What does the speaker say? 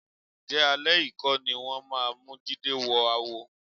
Ǹjẹ́ alẹ́ yìí kọ́ ni wọ́n máa mú Jídé wọ àwo?